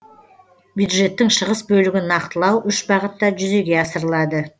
бюджеттің шығыс бөлігін нақтылау үш бағытта жүзеге асырылады